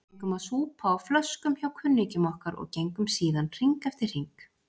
Við fengum að súpa á flöskum hjá kunningjum okkar og gengum síðan hring eftir hring.